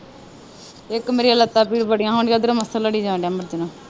ਇੱਕ ਮੇਰੀਆਂ ਲੱਤ ਭੀੜ ਬੜੀਆਂ ਹੋਣ ਦੀਆ ਓਧਰੋਂ ਮੱਛਰ ਲੜੀ ਜਾਣ ਦਿਆ ਮਰਜਾਣਾ